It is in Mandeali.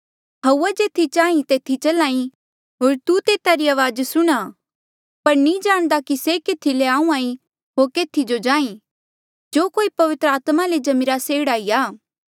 हउवा जेथी चांही तेथी चल्हा ई होर तू तेता री अवाज सुणहां पर नी जाणदा कि से केथी ले आहूँआं ईं होर केथी जो जांही जो कोई पवित्र आत्मा ले जम्मिरा से एह्ड़ा ई आ